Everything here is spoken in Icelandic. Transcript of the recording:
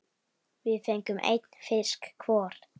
Við fengum einn fisk hvor.